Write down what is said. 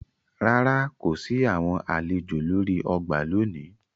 Ràrá, ko si awọn alejò lori ọgbà lóni